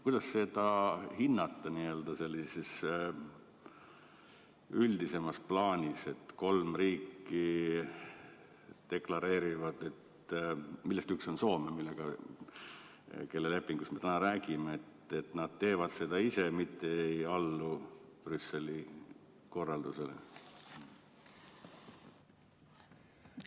Kuidas seda hinnata n-ö üldisemas plaanis, et kolm riiki – neist üks on Soome –, kelle lepingust me täna räägime, deklareerivad, et nad teevad seda ise, mitte ei allu Brüsseli korraldusele?